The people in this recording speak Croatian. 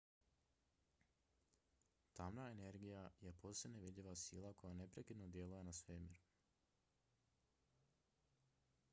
tamna energija je posve nevidljiva sila koja neprekidno djeluje na svemir